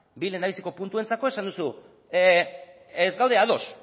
bi lehendabiziko puntuentzako esan duzu ez gaude ados